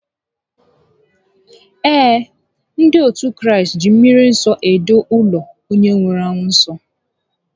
Ee, ndị otu Kraịst ji mmri nsọ edo ụlọ onye nwụrụ anwụ nsọ